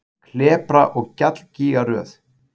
Klepra- og gjallgígaröð